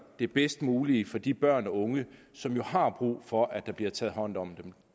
det bedst mulige for de børn og unge som har brug for at der bliver taget hånd om dem